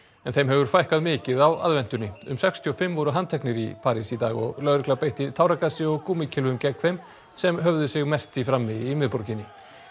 en þeim hefur fækkað mikið á aðventunni um sextíu og fimm voru handteknir í París í dag og lögregla beitti táragasi og gegn þeim sem höfðu sig mest í frammi í miðborginni